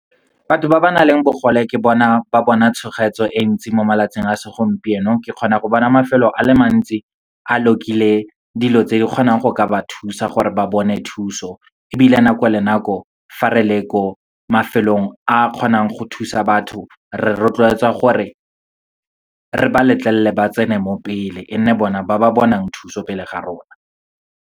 Batho ba ba nang le bogole ke bona ba bona e ntsi mo malatsing a segompieno. Ke kgona go bona mafelo a le mantsi a lock-ile dilo tse di kgonang go ka ba thusa, gore ba bone thuso. Ebile nako le nako, fa re le ko mafelong a kgonang go thusa batho, re rotloetswa gore, re ba letlelele ba tsene mo pele, e nne bona ba ba bonang thuso pele ga rona.